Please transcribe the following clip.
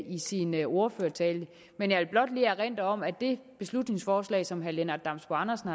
i sin ordførertale men jeg vil blot lige erindre om at det beslutningsforslag som herre lennart damsbo andersen